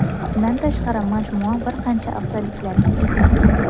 Bundan tashqari majmua bir qancha afzalliklarga ega.